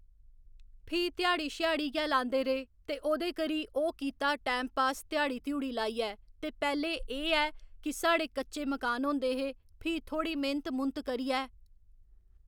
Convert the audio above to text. फ्ही ध्याड़ी छयाड़ी गै लांदे रेह् ते ओह्दे करी ओह् कीता टैम पास ध्याड़ी तुआड़ी लाइयै ते पैह्ले एह् ऐ कि साढ़े कच्चे मकान होंदे हे फ्ही थोहड़ी मेह्नत मूह्न्त करियै